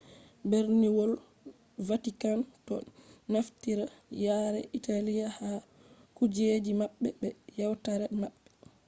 berniwol vatikan do naftira yare italy ha kujeji mabbe be yewtare maɓɓe